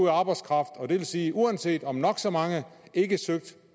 af arbejdskraft og det vil sige at uanset om nok så mange ikke søger